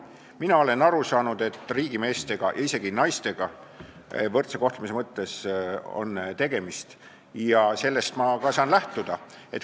Mina olen aru saanud, et tegemist on riigimeestega ja isegi -naistega, võrdse kohtlemise mõttes, ja sellest ma saan ka lähtuda.